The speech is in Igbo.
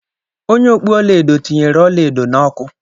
Onye okpu ọla edo tinyere ọla edo na ọkụ.